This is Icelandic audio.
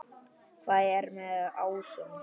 Hvað er með ásum?